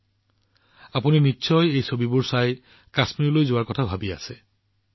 এই ছবিবোৰ দেখি আপোনালোকেও নিশ্চয় কাশ্মীৰ ভ্ৰমণলৈ যোৱাৰ কথা ভাবি আছে